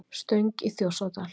Stöng í Þjórsárdal.